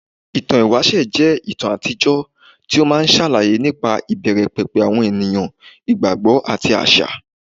Ìtàn ìwáṣẹ̀ jẹ́ ìtàn àtijọ́ tí ó máa ń ṣàlàyé nípa ìbẹ̀rẹ̀ pẹ̀pẹ̀ àwọn ènìyàn, ìgbàgbọ́, àti àṣà.